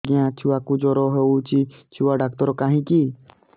ଆଜ୍ଞା ଛୁଆକୁ ଜର ହେଇଚି ଛୁଆ ଡାକ୍ତର କାହିଁ କି